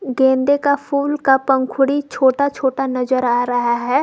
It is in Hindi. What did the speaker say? गेंदे का फूल का पंखुड़ी छोटा छोटा नजर आ रहा है।